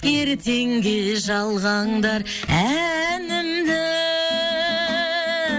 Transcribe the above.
ертеңге жалғаңдар әнімді